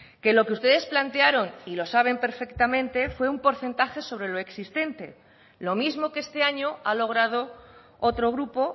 que lo que ustedes plantearon y lo saben perfectamente fue un porcentaje sobre lo existente lo mismo que este año ha logrado otro grupo